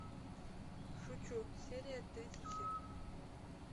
шучу серия тридцать семь